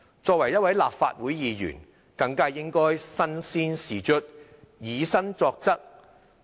作為一個立法會議員，更應該身先士卒、以身作則。